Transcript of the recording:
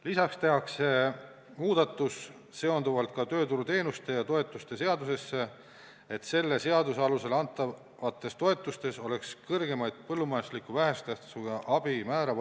Lisaks tehakse muudatus tööturuteenuste ja -toetuste seaduses, et selle seaduse alusel antavate toetuste puhul oleks võimalik kasutada kõrgemat põllumajandusliku vähese tähtsusega abi määra.